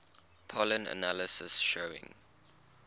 pollen analysis showing